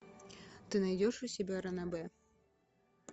ты найдешь у себя ранобэ